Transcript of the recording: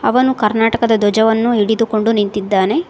ಅವನು ಕರ್ನಾಟಕದ ಧ್ವಜವನ್ನು ಹಿಡಿದುಕೊಂಡು ನಿಂತಿದ್ದಾನೆ.